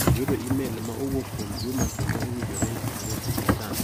Ayudo imelMa owuok kuom Juma kendo owinjore aduok gi sani.